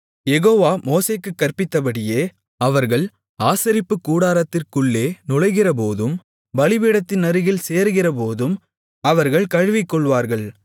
யெகோவா மோசேக்குக் கற்பித்தபடியே அவர்கள் ஆசரிப்புக்கூடாரத்திற்குள்ளே நுழைகிறபோதும் பலிபீடத்தினருகில் சேருகிறபோதும் அவர்கள் கழுவிக்கொள்ளுவார்கள்